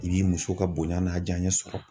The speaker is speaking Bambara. I b'i muso ka bonya n'a jaɲɛ sɔrɔ.